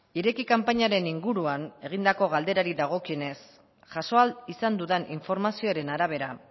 ireki kanpainaren inguruan egindako galderari dagokionez jaso ahal izan dudan informazioaren arabera